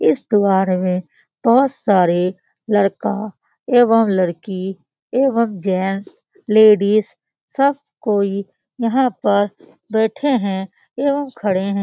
इस में बहुत सारे लड़का एवं लड़की एवं जेंट्स एवं लेडीज सब कोई यहाँ पर बैठे है एवं खड़े है ।